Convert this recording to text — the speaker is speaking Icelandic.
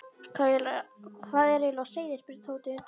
Hvað er eiginlega á seyði? spurði Tóti undrandi.